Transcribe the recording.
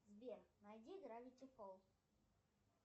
сбер найди гравити фолз